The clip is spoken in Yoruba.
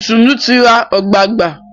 Itunu tí rá ogbagba.